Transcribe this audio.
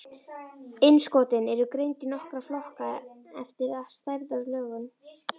Innskotin eru greind í nokkra flokka eftir stærð og lögun.